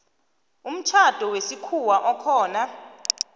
umtjhado wesikhuwa okhona